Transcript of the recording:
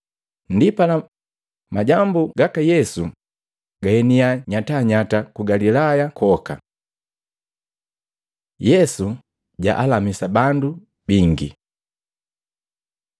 Ndipala, majambu gaka Yesu gaeniya nyatanyata ku Galilaya kwoka. Yesu jalamisa bandu bingi Matei 8:14-17; Luka 4:38-41